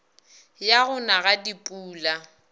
ya go na ga dipula